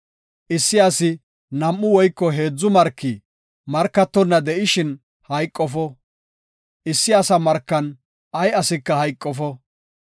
Issi asi nam7u woyko heedzu marki markatonna de7ishin hayqofo; issi asa markan ay asika hayqofo.